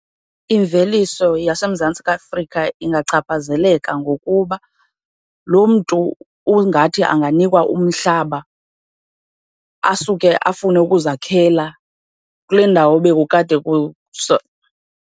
Imveliso yaseMzantsi Afrika ingachaphazeleka ngokuba loo mntu ungathi anganikwa umhlaba asuke afune ukuzakhela kule ndawo bekukade